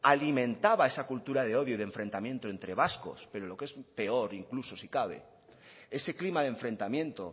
alimentaba esa cultura de odio y enfrentamiento entre vascos pero lo que es peor incluso si cabe ese clima de enfrentamiento